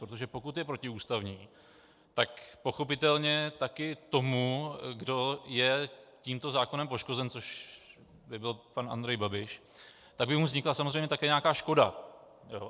Protože pokud je protiústavní, tak pochopitelně také tomu, kdo je tímto zákonem poškozen, což by byl pan Andrej Babiš, tak by mu vznikla samozřejmě také nějaká škoda.